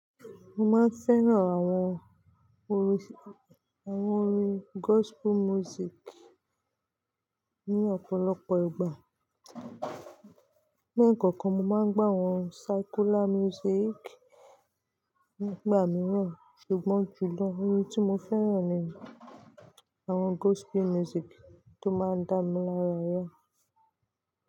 Mo máa ń fẹ́ràn àwon orin gospel music ní ọ̀pọ̀lọpọ̀ ìgbà. Ní ẹ̀kọ̀kan, mo máa ń gbó àwon secular music nígbà mìíràn. Ṣùgbọ́n jùlọ, orin tí mo fẹ́ràn ni àwon gospel music tó máa ń dá mi lára yàn.